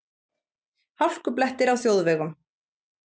Hálkublettir á þjóðvegum